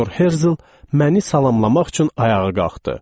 Teodor Herzel məni salamlamaq üçün ayağa qalxdı.